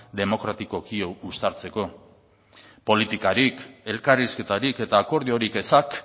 demokratikoki uztartzeko politikarik elkarrizketarik eta akordiorik ezak